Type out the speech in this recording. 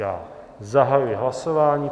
Já zahajuji hlasování.